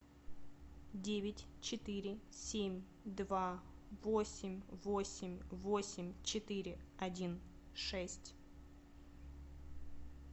девять четыре семь два восемь восемь восемь четыре один шесть